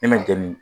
Ne ma jɛni